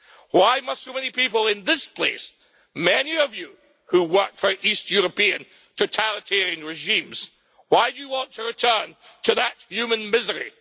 Why must so many people in this place many of you who worked for East European totalitarian regimes want to return to that human misery?